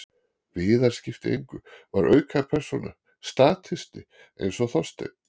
Viðar skipti engu, var aukapersóna, statisti, eins og Þorsteinn.